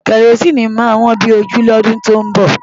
Kẹrosíìnì máa wọ́n bí ojú lọ́dún tó ń bọ̀.